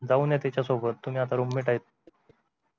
जाऊन या त्याच्या सोबत तुम्ही आता roommate आहेत